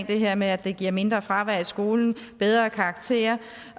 det her med at det giver mindre fravær i skolen bedre karakterer